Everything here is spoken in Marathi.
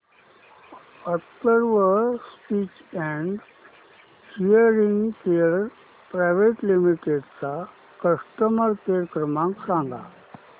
Atharva speech and hearing care private limited चा कस्टमर केअर क्रमांक सांगा